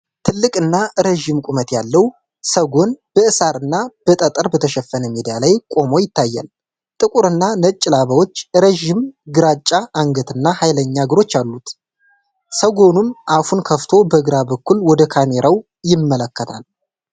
ትልቅ እና ረዥም ቁመት ያለው ሰጎን በሳር እና በጠጠር በተሸፈነ ሜዳ ላይ ቆሞ ይታያል። ጥቁር እና ነጭ ላባዎች፣ ረዣዥም ግራጫ አንገት እና ኃይለኛ እግሮች አሉት፤ ሰጎኑም አፉን ከፍቶ በግራ በኩል ወደ ካሜራው ይመለከታል።